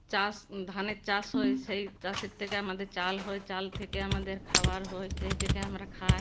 চাষ ধানের চাষ হয়ে সেই চাষের থেকে আমাদের চাল হয় চাল থেকে আমাদের খাবার হয় সেই থেকে আমরা খা-ই--